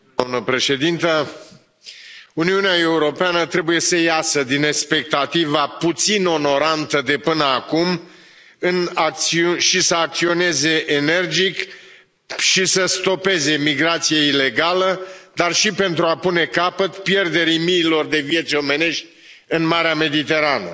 Doamnă președintă, Uniunea Europeană trebuie să iasă din expectativa puțin onorantă de până acum și să acționeze energic și să stopeze migrația ilegală, dar și pentru a pune capăt pierderii miilor de vieți omenești în Marea Mediterană.